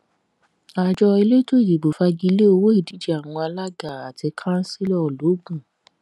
àjọ elétò ìdìbò fagi lé owó ìdíje àwọn alága àti kansílò logun